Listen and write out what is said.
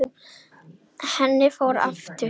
Henni fór aftur.